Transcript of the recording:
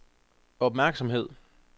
opmærksomhed